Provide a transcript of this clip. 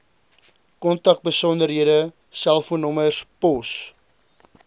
kontakbesonderhede selfoonnommers pos